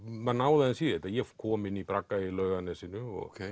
maður náði aðeins í þetta ég kom inn í bragga í Laugarnesinu og